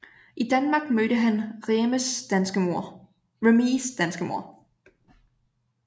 I Danmark mødte han Remees danske mor